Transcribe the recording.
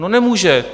No, nemůže.